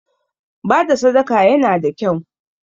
Bada sadaka yana da kyau